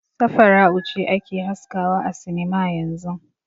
Safara'u ce ake haskawa a sinima yanzun.